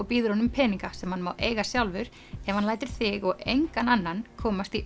býður honum peninga sem hann má eiga sjálfur ef hann lætur þig og engan annan komast í